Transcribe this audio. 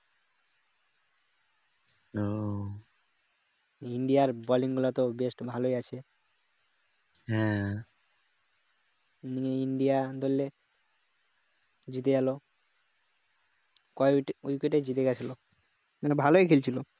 ইন্ডিয়ার bolling গুলো তো best ভালোই আছে নিয়ে ইন্ডিয়া ধরলে জিতে গেল কয় wicket এ জিতে গেছিল মানে ভালোই খেলছিল